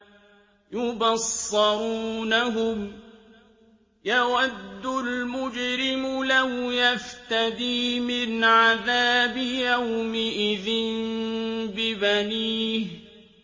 يُبَصَّرُونَهُمْ ۚ يَوَدُّ الْمُجْرِمُ لَوْ يَفْتَدِي مِنْ عَذَابِ يَوْمِئِذٍ بِبَنِيهِ